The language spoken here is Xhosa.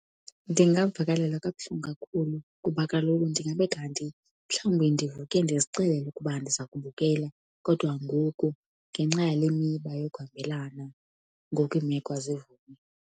Ndingavakalelwa kabuhlungu kakhulu kuba kaloku ndingabe kanti mhlawumbi ndivuke ndizixelele ukuba ndiza kubukela kodwa ngoku ngenxa yale miba yokuhambelana, ngoku iimeko azivumi.